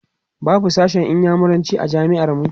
babu sashen inyamuranci a jami'ar mu